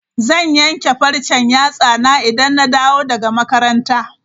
Zan yanke farcen yatsana idan na dawo daga makaranta.